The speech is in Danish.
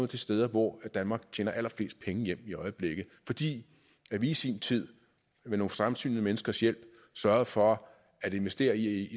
de steder hvor danmark tjener allerflest penge hjem i øjeblikket fordi vi i sin tid med nogle fremsynede menneskers hjælp sørgede for at investere i